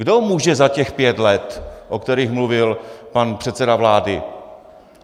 Kdo může za těch pět let, o kterých mluvil pan předseda vlády?